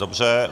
Dobře.